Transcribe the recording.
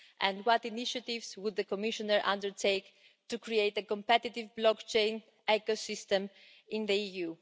and what initiatives would the Commissioner undertake to create a competitive blockchain ecosystem in the EU?